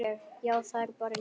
Já, það er bara ég.